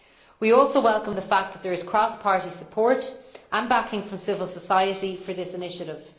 We also welcome the fact that there is cross party support, and backing from civil society, for this initiative.